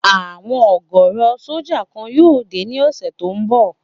Àwọn ọ̀gọ̀rọ̀ sójà kan yóò dé ní ọ̀sẹ̀ tó n bọ̀